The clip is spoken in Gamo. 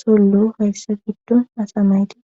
sollo hayssa giddon asamayti